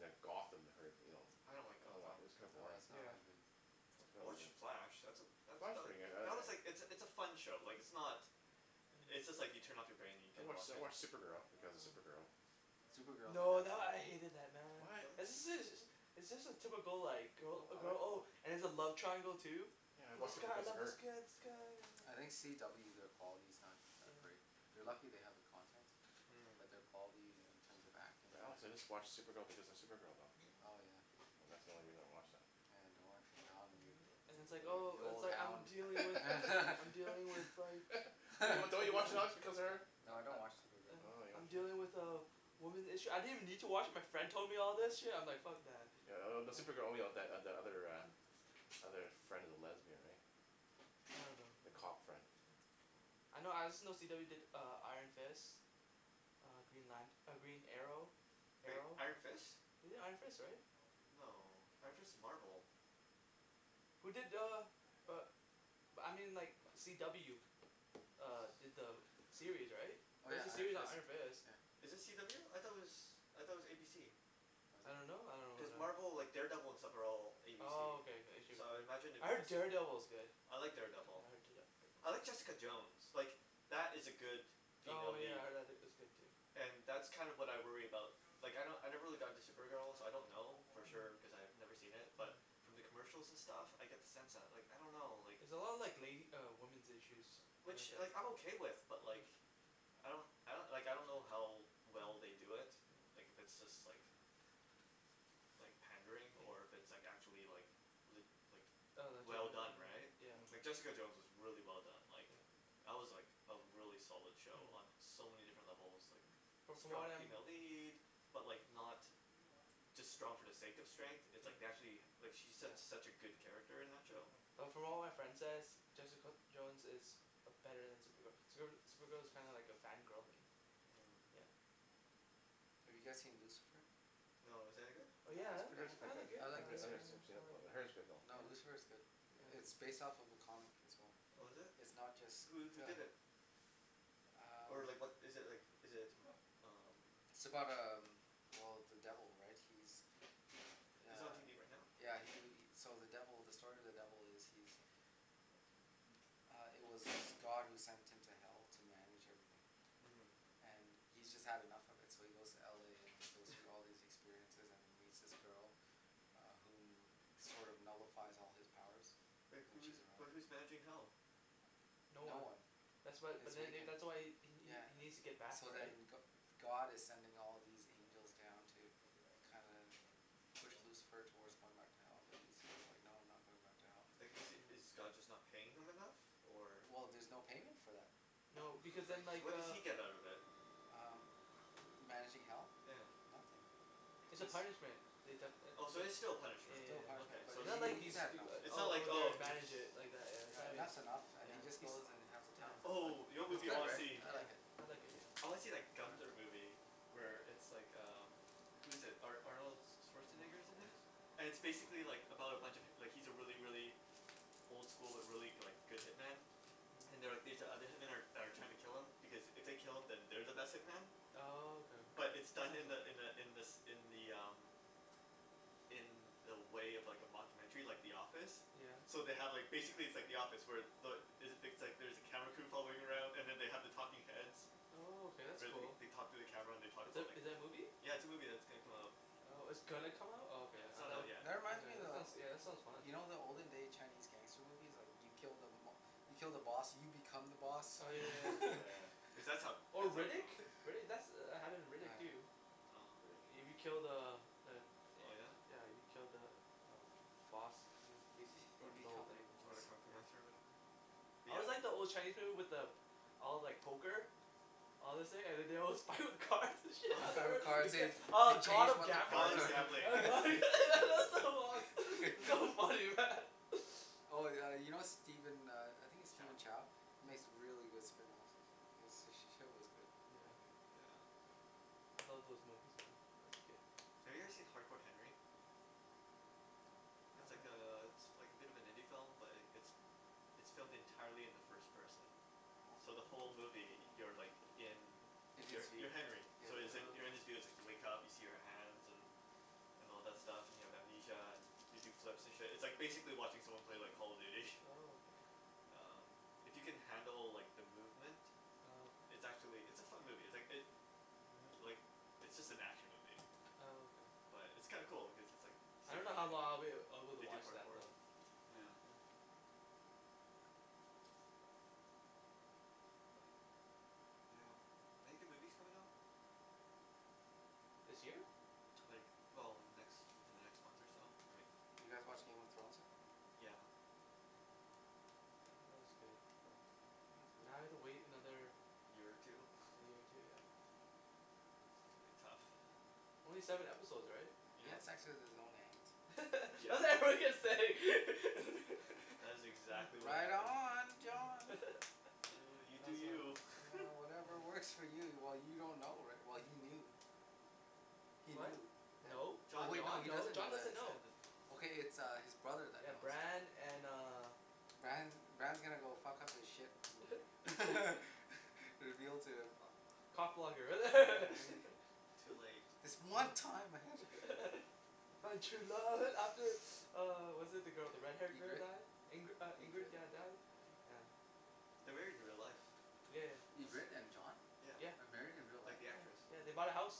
like Gotham that I heard you know I don't like I don't watc- Gotham it's kinda oh boring it's not yeah that good I watch The Flash that's a that Flash is that pretty good I I that was like it's a it's a I fun show like it's not It's just like you turn off your brain and you I can watch watch I it watch yeah Supergirl because of Supergirl Supergirl is a No good that show I hated that man What? right It's just a typical like I girl I like girl it oh all and there's a love triangle too Yeah I watch this it Oh guy I because of love this her guy this guy I oh think oh CW their quality's not that yeah great They're lucky they have the content Hmm but their quality in yeah terms of acting But and honestly everything I watch Supergirl because of Supergirl though oh yeah yeah Yeah that's the only yeah reason I watch that yeah and it's I like enjoy it oh the it's old like I'm hound dealing with I'm dealing with like Don't don't you watch Ooh because of her? I No I don't watch Supergirl Oh I I'm you dealing don't watch it with a woman's issue, I didn't even need to watch it my friend told me all this Hmm shit and I'm like fuck that Yeah th- the Supergirl only the the other uh other friend of the lesbian right I don't know the yeah cop friend I know I just know CW did uh Iron Fist Uh Green Lant- Green Arrow Wait Arrow. Iron Fist? They did Iron Fist right? No, Iron Fist is Marvel Who did uh uh but I mean like CW uh did the uh series right oh yeah there's a Iron series on Fist Iron Fist yeah Is it CW? I though it was I thought it was ABC. was I it don't know I Cuz don't know wh- Marvel like Daredevil and stuff are all ABC Oh okay okay so I imagine it I would be heard the same thing Daredevil is good I like yeah Daredevil I heard Da- I heard De- Jessica Jones like that is a good female Oh yeah lead I heard tha- that was good too and that's kinda what I worry about like I kno- I never really got into Supergirl so I don't know for Hmm sure cause I've never seen it but Hmm from the commercial and stuff I get the sense that like I don't know It's a lot of like lady uh women's issues uh which kinda like I'm thing okay with but like Mm I don't I like I don't know how well they do it like if it's just like like pandering or yeah if it's like actually like lit- like Oh well legitimate done right yeah yeah, yeah like Jessica Jones Hmm is really well done like yeah That was like a really solid show Mm on so many different levels like But from strong what I'm female lead but like not just strong for the sake of strength it's yeah, like they actually like she's su- yeah, such a good character in that yeah show Mm But from what my friend says Jessica Jones is uh better then Supergirl, Supergirl Supergirl is kinda like a fan girl thing Hmm yeah Have you guys seen Lucifer? No, is that any good? Oh yeah I It's I pretty heard it's good, I I pretty good like it I I I I like like it yeah never Lucifer seen it yeah before I like but I heard it's good though No yeah Lucifer's good It- yeah it's based off a comic as well Oh is it? It's not just Who who the did it? Or um like what is it like is it t- umm It's about um well the devil right he's Is it on uh tv right now? yeah he he so the devil the story of the devil is he's m- uh it was God who sent him to hell to manage everything uh-huh and he's just had enough of it so he goes to LA and he goes through all these experiences and he meets this girl uh whom sort of nullifies all his powers Wait when she's who's but around who's managing hell? No no one one That's why it's but then vacant that's why he he yeah he needs to get back So right then Go- God is sending all these angels down to kinda push Lucifer towards going back to hell but Lucifer is like no I'm not going back to hell Like is is yeah God just not paying him enough? Or? Well there's no payment for that No because then So like what does uh he get out of it? um ma- managing hell? yeah Nothing yeah it's a it's punishment they def- it Oh so it it's still a yeah yeah punishment, yeah yeah yeah okay but so It's it's he not he like he's he's had doi- enough It's uh not I'll like go there and oh he- manage it like that yeah yeah and it that's enough and yeah he just goes and has the yeah he's oh yeah time of yeah his life. Oh you know what It's movie I good wanna right see? yeah, I yeah like it I like it yeah I wanna see that Gunther movie Where it's like um Who's it Ar- Arnold Oh my Schwarzenegger's in it goodness And it's basically like about a bunch of hip- like he's a really really old school but really like go- good hitman Hmm and they're like these other hitman that that are like trying to kill him because it they kill him then they're the best hitman Oh okay But it's done in the in the in the in the um In the way of like a mocumentary like The Office yeah So they have like basically it's like The Office where the is it things like there's a camera crew following around and they have the talking heads Oh okay that's Where they cool they talk to the camera and they talk Is about like is it a movie? Yeah it's a movie that's gonna come out Oh it's gonna come out oh Yeah okay it's I not out though, tha- yet that reminds okay me that sounds of- that sounds fun you know the olden day Chinese gangster movie's like you kill the mob- you kill the boss and you become the boss oh yeah Yeah Oh yeah yeah yeah cuz that's how Oh that's how Riddick? crimi- Riddick that's happened in Riddick oh yeah too No Riddick. You be killed the uh the uh Oh yeah? yeah you killed the um boss you hmm uh-huh bas- you run the whole become the thing Oh boss the kung fu yeah master of whatever? yeah But I yeah always like the old Chinese people with the all like poker all this thing and then they with cars and Oh shit, it gets oh God of Gambles yeah that that's so lost, so funny man oh yeah you know Steven uh I think its Chow Steven Chow makes really good spring rolls h- he's sh- shit was good yeah Yeah oh I love those movies man when I was a kid Have you guys seen Hard Core Henry? Mm uh It's I like don't know uh it's like a bit of an indie film but like it's it's filmed entirely in the first person so the oh whole Oh movie you're like in in his you're you're view Henry yeah so yo- you're in um his oh you wake up see your hands and and all that stuff and you have amnesia and you do flips and shit it's like basically watching someone play like Call of Duty oh okay Umm If you can handle like the movement oh okay it's actually it's a fun movie it's like it uh-huh like it's just an action movie oh okay but it's kinda cool like cause it's just like I you see him don't know how running lo- long I'd be able to they do watch that parkour though yeah yeah but yeah Any good movies coming out? this year? Like well in the next in the next month or so I mean Did you guys watch Game of Thrones yet? yeah yeah yeah that was good but Now I have to wait another year or two year or two yeah It's gonna be tough only seven episode right? yeah he had yeah sex with his own aunt I was yeah like what are you gonna say That is exactly what right happened on yeah John that Oh you do was fun you yeah whatever works for you well you don't know righ- well he knew he what? knew tha- no, oh John wait didn't John he no doesn't know John that doesn't John yet doesn't know know Okay it's his brother that yeah knows Bran and uh Bran Bran is gonna go fuck up his shit you're guiltier ah cock yeah blocker he Too late This one time I I found true love after uh was it the girl the red hair yeah girl Ingrid die Ingri- Ingrid Ingrid yeah died yeah They're married in real life Yeah yeah That's Ingrid and crazy, John yeah yeah are married in real Like life? the yeah actress yeah they bought a house